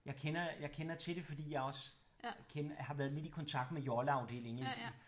Jeg kender jeg kender til det fordi jeg også har været lidt kontakt med jolleafdelingen